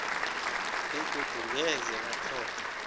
begodu ngeze batlhoga